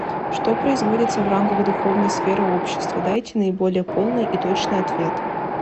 что производится в рамках духовной сферы общества дайте наиболее полный и точный ответ